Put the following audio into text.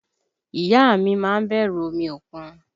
Ìyá a mi má ń bẹ̀rù omi òkun